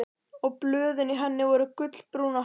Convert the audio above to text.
Og blöðin í henni voru gulbrún og hál.